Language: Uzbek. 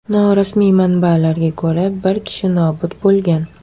Norasmiy manbalarga ko‘ra, bir kishi nobud bo‘lgan.